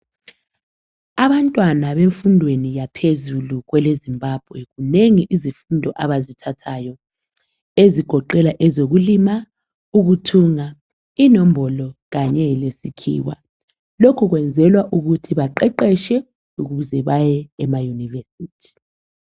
Abantwana bemfundweni yaphezulu kweleZimbabwe, zinengi izifundo abazithathayo. Ezigoqela ezokulima, ukuthunga, inombolo kanye lesikhiwa. Lokho kwenzelwa ukuthi baqeqetshe ukuze baye emayunivesithi.